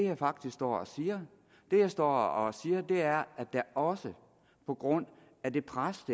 jeg faktisk står og siger det jeg står og siger er at der også på grund af det pres